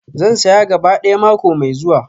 Zan saya gaba ɗaya mako mai zuwa.